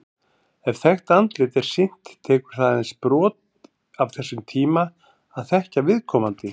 Ef þekkt andlit er sýnt, tekur aðeins brot af þessum tíma að þekkja viðkomandi.